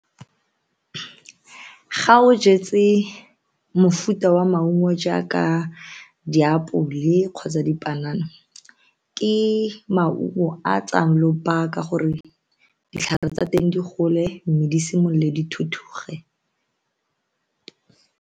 Ga o jetse mofuta wa maungo jaaka diapole kgotsa dipanana ke maungo a tsayang lobaka gore ditlhare tsa teng di gole mme di simolole dithuthuge.